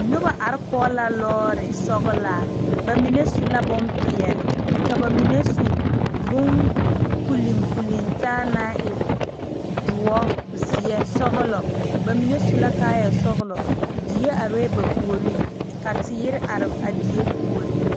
Nobɔ are kɔge la lɔɔre sɔglaa ba mine su la bonpeɛle ka ba mine su bon puliŋ puliŋ taa naŋ e doɔ zeɛ sɔglɔ ba mine su la kaayɛ sɔglɔ die arɛɛ ba puoriŋ ka teere are a die puoriŋ.